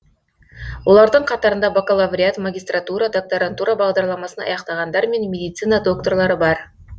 олардың қатарында бакалавриат магистратура докторантура бағдарламасын аяқтағандар мен медицина докторлары бар